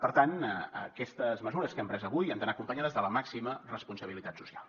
per tant aquestes mesures que hem pres avui han d’anar acompanyades de la màxima responsabilitat social